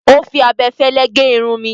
Ó fi abẹfẹ́fẹ́ gé irun mi.